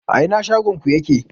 A ina shagon ku yake?